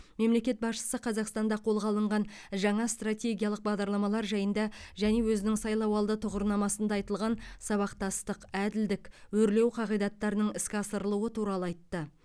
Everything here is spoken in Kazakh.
мемлекет басшысы қазақстанда қолға алынған жаңа стратегиялық бағдарламалар жайында және өзінің сайлауалды тұғырнамасында айтылған сабақтастық әділдік өрлеу қағидаттарының іске асырылуы туралы айтты